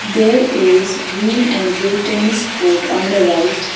there is green and blue tennis court on the right.